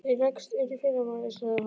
Ég leggst inn í fyrramálið, sagði hún.